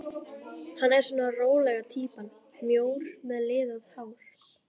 Hann er svona rólega týpan, mjór með liðað hár.